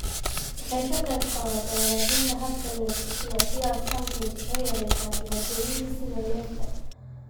Waxay ka qaybqaadataa hagaajinta habka neefsashada, sidaas awgeed waxay yareysaa dhibaatooyinka sida neefta.